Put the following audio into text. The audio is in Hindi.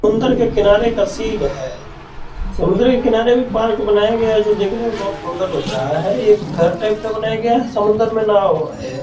अंदर के किनारे का सीन है समुन्द्र के किनारे भी पार्क बनाया गया है जो देखने में बहुत सुंदर लग रहा है ये एक घर टाइप का बनाया गया है समुन्द्र में नाव है ।